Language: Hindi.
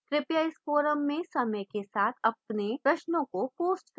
कृपया इस forum में समय के साथ अपने प्रश्नों को post करें